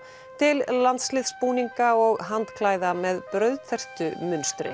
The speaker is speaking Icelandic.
til landsliðsbúninga og með